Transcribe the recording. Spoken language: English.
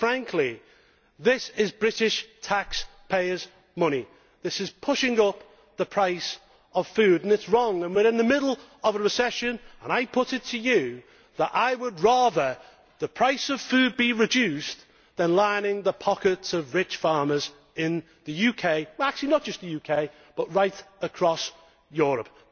Quite frankly, this is British taxpayers' money. This is pushing up the price of food and it is wrong. We are in the middle of a recession and I put it to you that I would rather the price of food be reduced than line the pockets of rich farmers in the UK and actually not just the UK but right across Europe.